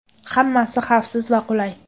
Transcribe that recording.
Hammasi xavfsiz va qulay.